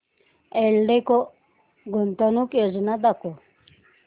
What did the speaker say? एल्डेको गुंतवणूक योजना दाखव